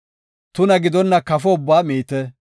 Tuna gidonna kafo ubbaa miite.